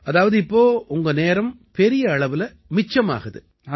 அதாவது இப்ப உங்க நேரம் பெரிய அளவுல மிச்சமாகுது